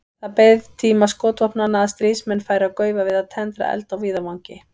Það beið tíma skotvopnanna að stríðsmenn færu að gaufa við að tendra eld á víðavangi.